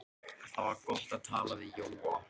Það var gott að tala við Jóa.